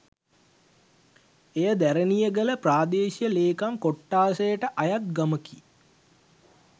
එය දැරණියගල ප්‍රාදේශීය ලේකම් කොට්ඨාසයට අයත් ගමකි